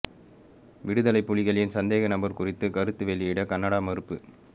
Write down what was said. விடுதலைப் புலிகளின் சந்தேக நபர் குறித்து கருத்து வெளியிட கனடா மறுப்பு